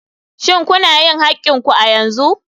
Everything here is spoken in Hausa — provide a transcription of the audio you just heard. Shin kuna yin haƙƙin ku a yanzu?